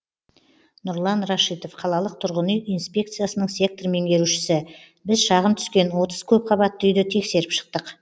нұрлан рашитов қалалық тұрғын үй инспекциясының сектор меңгерушісі біз шағым түскен отыз көпқабатты үйді тексеріп шықтық